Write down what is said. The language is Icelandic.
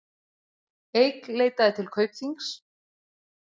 Eik leitaði til Kaupþings